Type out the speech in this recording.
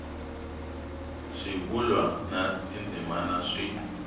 swivulwa na tindzimana swi